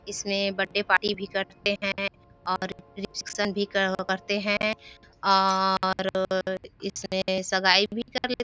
इसमें birthday party भी करते है और रिसेप्शन भी करते है और इसमें सगाई भी कर लेते है।